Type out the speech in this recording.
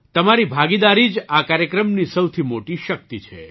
તમારી ભાગીદારી જ આ કાર્યક્રમની સૌથી મોટી શક્તિ છે